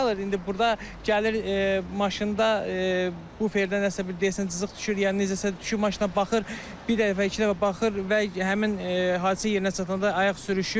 İndi burda gəlir maşında buferdə nəsə bir deyəsən cızıq düşür, yəni necəsə düşüb maşına baxır, bir dəfə, iki dəfə baxır və həmin hadisə yerinə çatanda ayaq sürüşür.